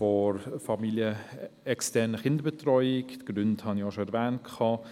der familienexternen Kinderbetreuung grundsätzlich unterstützen.